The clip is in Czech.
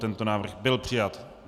Tento návrh byl přijat.